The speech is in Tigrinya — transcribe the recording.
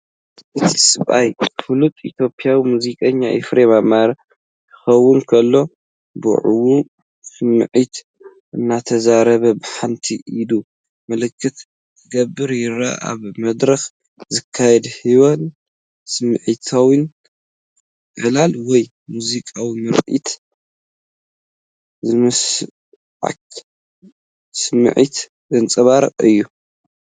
እቲ ሰብኣይ ፍሉጥ ኢትዮጵያዊ ሙዚቀኛ ኤፍሬም ኣማረ ክኸውን ከሎ፡ ብውዕዉዕ ስምዒትን እናተዛረበ ብሓንቲ ኢዱ ምልክት ክገብር ይረአ። ኣብ መድረኽ ዝካየድ ህያውን ስምዒታውን ዕላል ወይ ሙዚቃዊ ምርኢት ዝስምዓካ ስምዒት ዘንጸባርቕ እዩ።